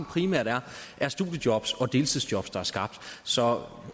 primært er studiejobs og deltidsjob der er skabt så